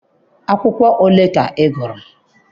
Akwụkwọ ole ka ị gụrụ?